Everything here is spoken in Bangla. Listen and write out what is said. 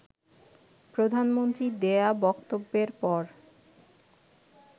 প্রধানমন্ত্রীর দেয়া বক্তব্যের পর